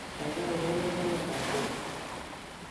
kaigai urerenwon tiendab pop